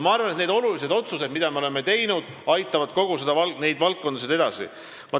Ma arvan, et need olulised otsused, mida me oleme teinud, aitavad neid valdkondasid edasi.